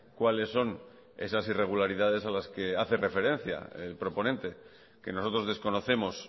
cuáles son esas irregularidades a las que hace referencia el proponente que nosotros desconocemos